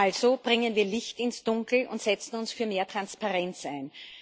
Also bringen wir Licht ins Dunkel und setzen uns für mehr Transparenz ein.